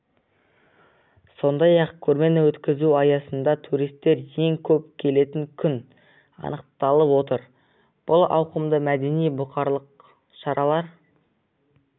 сондай-ақ көрмені өткізу аясында туристер ең көп келетін күн анықталып отыр бұл ауқымды мәдени бұқаралық шаралар